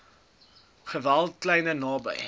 geswelde kliere naby